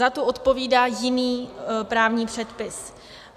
Za tu odpovídá jiný právní předpis.